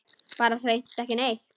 Bara hreint ekki neitt.